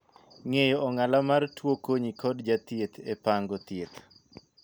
Ng'eyo ong'ala mar tuo konyi kod jathieth e pango thieth.